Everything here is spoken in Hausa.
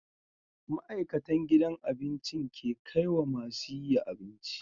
Ma'aikatan gidan abincin ke kaiwa masu yiya abinci